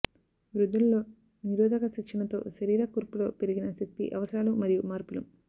వృద్ధులలో నిరోధక శిక్షణతో శరీర కూర్పులో పెరిగిన శక్తి అవసరాలు మరియు మార్పులు